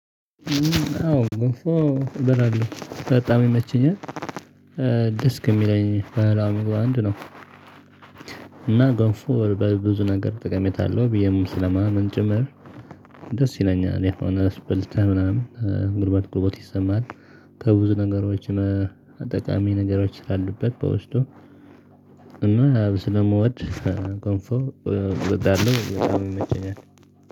አዎ ገንፎ እበላለሁ በጣም ይመቸኛል ደስ ከሚለኝ ባህላዊ ምግብ አንዱ ነው። እና ጎንፎ በብዙ ነገር ጠቀሜታ አለው ብየም ስለማምን ጭምር። ደስ ይለኛል የሆነ ስብልት ምናምን ግርባብ ግርቦት ይሰማል። ከብዙ ነገሮች አጠቃሚ ነገሮች ስላሉበት በውስጡ። እና ስለመውድ ገንፎ እወዳለው ይመቸኛል